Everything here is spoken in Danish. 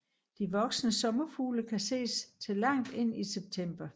De voksne sommerfugle kan ses til langt ind i september